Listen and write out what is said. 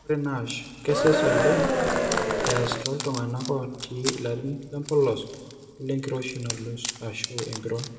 Ore NASH kesesh ooleng easa tooltung'anak ootii ilarin lempolos olenkiroshi nalus ashu empiron.